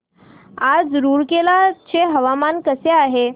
आज रूरकेला चे हवामान कसे आहे